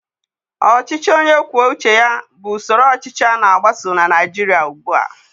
Ọchịchị onye kwuo uche bụ usoro ọchịchị a na-agbaso na Naịjirịa ugbua.